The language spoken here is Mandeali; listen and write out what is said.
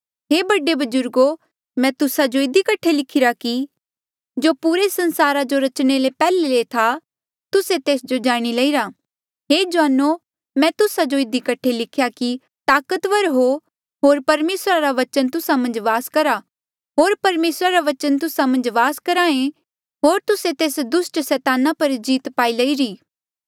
हे बडे बजुर्गो मैं तुस्सा जो इधी कठे लिखिरा कि जो पुरे संसारा जो रचणे ले पैहले से था तुस्से तेस जो जाणी लईरा हे जुआनो मैं तुस्सा जो इधी कठे लिख्हा कि ताकतवर हो होर परमेसरा रा बचन तुस्सा मन्झ वास करहा ऐें होर तुस्से तेस दुस्ट सैताना पर जीत पाई लईरी